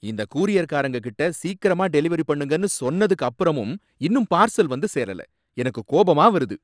இந்த கூரியர்காரங்க கிட்ட சீக்கிரமா டெலிவெரி பண்ணுங்கனு சொன்னதுக்கு அப்பறமும் இன்னும் பார்சல் வந்து சேரல, எனக்கு கோபமா வருது